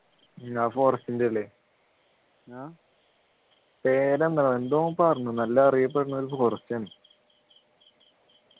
ആ forest ൻ്റെ അല്ലേ പേരെന്താ എന്തോ ഓൻ പറഞ്ഞു നല്ല അറിയപ്പെടുന്ന ഒരു forest ആണ്